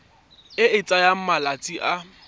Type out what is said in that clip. e e tsayang malatsi a